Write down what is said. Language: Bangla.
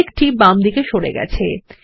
মেঘ টি বামদিকে সরে গেছে